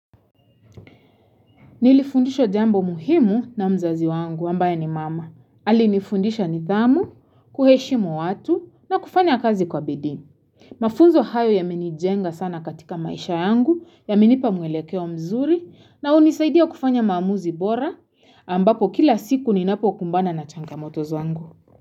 Nilifundishwa jambo muhimu na mzazi wangu ambaye ni mama. Alinifundisha nidhamu, kuheshimu watu na kufanya kazi kwa bidii Mafunzo hayo ya menijenga sana katika maisha yangu ya menipa mwelekeo mzuri na hunisaidia kufanya mamuzi bora ambapo kila siku ni napo kumbana na changa motoz wangu.